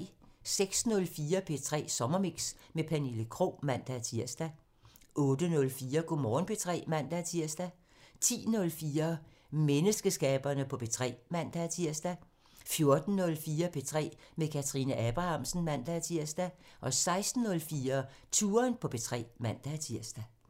06:04: P3 Morgenmix med Pernille Krog (man-tir) 08:04: Go' Morgen P3 (man-tir) 10:04: Mememesterskaberne på P3 (man-tir) 14:04: P3 med Kathrine Abrahamsen (man-tir) 16:04: Touren på P3 (man-tir)